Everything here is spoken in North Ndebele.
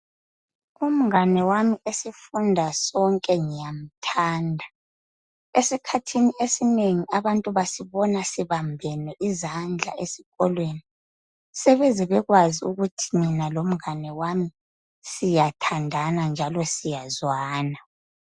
Umngane wami esifunda sonke ngiyamthanda. Esikhathini esinengi abantu basibona sibambene izandla esikolweni. Sebeze bekwazi ukuthi mina lomngane wami siyathandana njalo siyezwana.